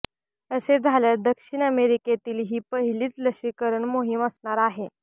असे झाल्यास दक्षिण अमेरिकेतील ही पहिलीच लशीकरण मोहीम असणार आहे